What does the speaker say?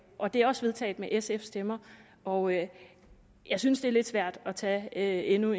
og det er også vedtaget med sfs stemmer og jeg jeg synes det er lidt svært at tage endnu